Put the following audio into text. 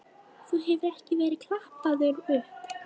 Þú hefur ekki verið klappaður upp?